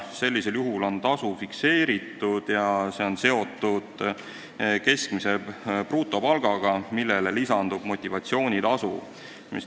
Sellisel juhul on tasu fikseeritud ja see on seotud keskmise brutopalgaga, millele lisandub motivatsioonitasu.